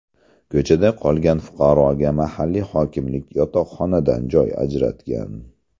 Ko‘chada qolgan fuqaroga mahalliy hokimlik yotoqxonadan joy ajratgan.